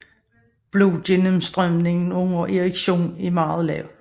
Blodgennenmstrømningen under erektion er derfor meget lav